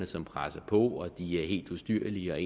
som presser på og er helt ustyrlige og